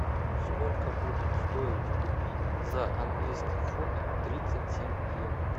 сколько будет стоить купить за английский фунт тридцать семь евро